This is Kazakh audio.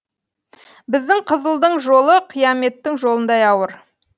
біздің қызылдың жолы қияметтің жолындай ауыр